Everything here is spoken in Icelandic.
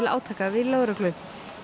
átaka við lögreglu